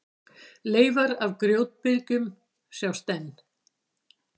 Leifar af grjótbyrgjum sjást enn.